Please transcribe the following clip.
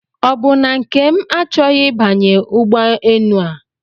Ọbụ na Nkem achọghị ịbanye ụgbọ enu a?